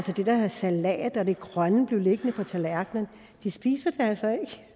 det der salat og grønne blive liggende tilbage på tallerkenen de spiser